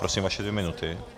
Prosím, vaše dvě minuty.